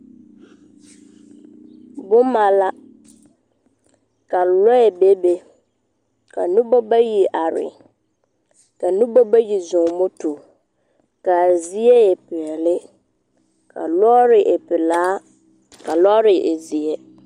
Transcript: Boma la, ka lͻԑ bebe, ka noba bayi are, ka noba bayi zͻͻ moto, ka a zie e peԑle. Ka lͻͻre e pelaa, ka lͻͻre e zeԑ.